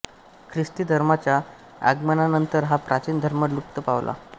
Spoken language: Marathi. ख्रिस्ती धर्माच्या आगमनानंतर हा प्राचीन धर्म लुप्त पावला